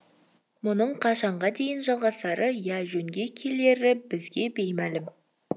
мұның қашанға дейін жалғасары я жөнге келері бізге беймәлім